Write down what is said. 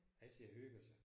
Han sidder og hygger sig